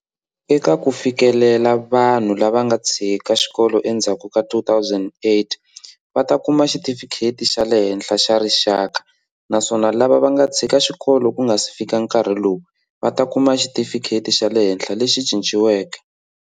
Eka ku fikelela, vanhu lava va nga tshika xikolo endzhaku ka 2008 va ta kuma Xitifikheti xa le Henhla xa Rixaka naswona lava va nga tshika xikolo ku nga si fika nkarhi lowu, va ta kuma Xitifikheti xa le Henhla lexi Cinciweke.